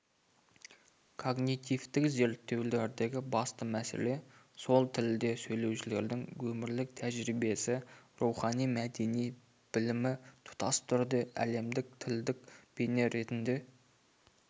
когнитивтік зерттеулердегі басты мәселе сол тілде сөйлеушілердің өмірлік тәжірибесі рухани мәдени білімі тұтас түрде әлемдік тілдік бейне ретінде